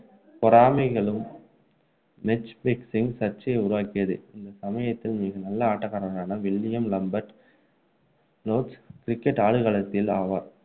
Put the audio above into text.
பொறாமைகளும் match fixing சர்ச்சையை உருவாக்கியது இந்த சமயத்தில் மிக நல்ல ஆட்டக்காரரான வில்லியம் லாம்பர்ட் லோர்ட்ஸ் cricket ஆடுகளத்தில் ஆவார்